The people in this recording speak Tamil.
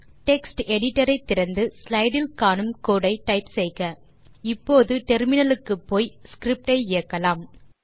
டெக்ஸ்ட் எடிட்டர் ஐ திறந்து ஸ்லைடு இல் காணும் கோடு ஐ டைப் செய்க இப்போது டெர்மினல் க்கு போய் ஸ்கிரிப்ட் ஐ இயக்கலாம்